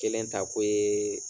Kelen ta ko ye